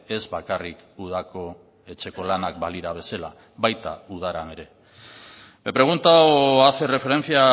ez bakarrik udako etxeko lanak balira bezala baita udaran ere me pregunta o hace referencia a